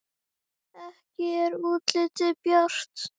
Ekki er útlitið bjart!